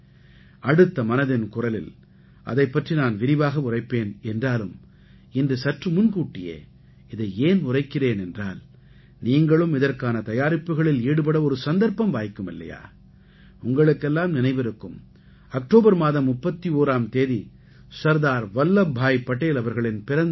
அடுத்த மனதின் குரலில் அதைப் பற்றி நான் விரிவாக உரைப்பேன் என்றாலும் இன்று சற்று முன்கூட்டியே இதை ஏன் உரைக்கிறேன் என்றால் நீங்களும் இதற்கான தயாரிப்புக்களில் ஈடுபட ஒரு சந்தர்ப்பம் வாய்க்கும் இல்லையா உங்களுக்கெல்லாம் நினைவிருக்கும் அக்டோபர் மாதம் 31ஆம் தேதி சர்தார் வல்லப்பாய் படேல் அவர்களின் பிறந்த நாள்